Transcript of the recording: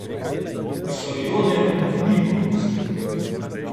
Sorjonen ni popustil.